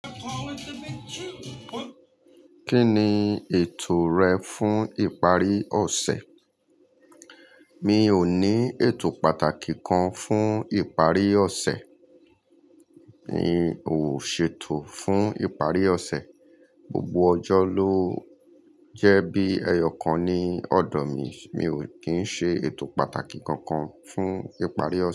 Kí ni ètò rẹ fún ìparí ọ̀sẹ̀? Mi ò ní ètò pàtàkì kan fún ìparí ọ̀sẹ̀. Mi ò ṣètò fún ìparí ọ̀sẹ̀. Gbogbo ọjọ́ ló jẹ́ bí ẹyọ̀kan ní ọ̀dọ̀ mi. Mi ò kín ṣe ètò pàtàkì kankan fún ìparí ọ̀sẹ̀